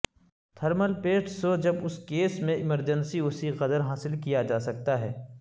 thermal paste سوھ جب اس کیس میں ایمرجنسی اسی قدر حاصل کیا جا سکتا ہے